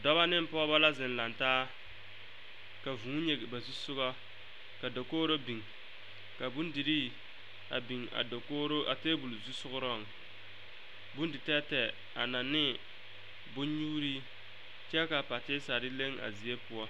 Dɔba ne pɔgeba la zeŋ laŋ taa ka vuu nyige ba zu soga ka dakogro biŋ ka bondirii a biŋ a dakogro a table zu sogaŋ bondi tɛɛtɛɛ a laŋne bonnyuurii kyɛ ka patisa leŋ a zie poɔ.